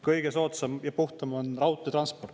Kõige soodsam ja puhtam on raudteetransport!